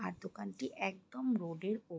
আর দোকানটি একদম রোড এর ওপ--